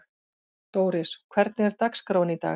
Dóris, hvernig er dagskráin í dag?